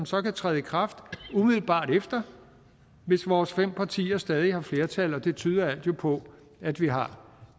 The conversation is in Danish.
så træde i kraft umiddelbart efter hvis vores fem partier stadig har flertal og det tyder alt jo på at vi har